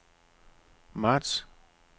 marts